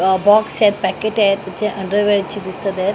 अ box आहेत packet आहेत त्याचे अंडर वेअर दिसत आहेत.